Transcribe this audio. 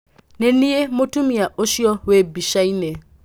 Niĩ nĩniĩ mũtumia ũcio wĩ mbicainĩ.